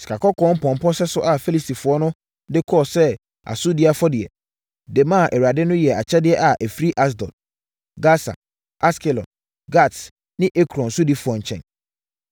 Sikakɔkɔɔ mpɔmpɔ sɛso a Filistifoɔ no de kɔɔ sɛ asodie afɔdeɛ, de maa Awurade no yɛ akyɛdeɛ a ɛfiri Asdod, Gasa, Askelon, Gat ne Ekron sodifoɔ nkyɛn.